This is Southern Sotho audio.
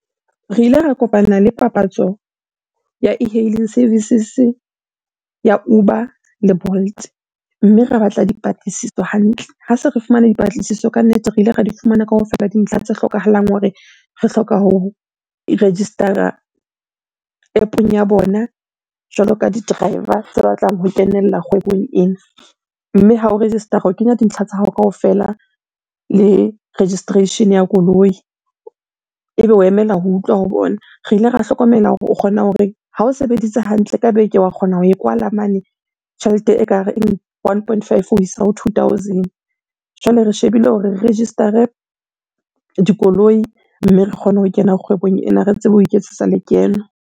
Re ile ra kopana le papatso ya e-hailing services ya Uber le Bolt, mme ra batla dipatlisiso hantle. Ha se re fumane dipatlisiso ka nnete, re ile ra di fumana kaofela dintlha tse hlokahalang hore re hloka ho register-ra App-ong ya bona jwalo ka di-driver tse batlang ho kenella kgwebong ena. Mme ha o register-ra o kenya dintlha tsa hao kaofela le registration-e ya koloi, ebe o emela ho utlwa ho bona. Re ile ra hlokomela hore o kgona hore ha o sebeditse hantle ka beke, wa kgona ho e kwala mane tjhelete ekareng one point five ho isa ho two thousand. Jwale re shebile hore re register-re dikoloi mme re kgone ho kena kgwebong ena re tsebe ho iketsetsa lekeno.